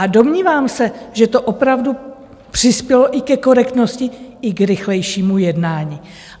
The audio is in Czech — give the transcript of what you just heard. A domnívám se, že to opravdu přispělo i ke korektnosti, i k rychlejšímu jednání.